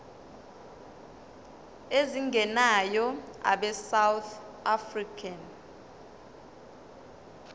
ezingenayo abesouth african